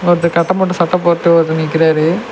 ஒருத்தர் கட்டம் போட்ட சட்ட போட்டு ஒருத்தர் நிக்கிறாரு.